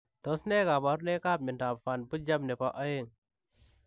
Tos nee kabarunoik ap miondoop Van Buchem nepoo oeng?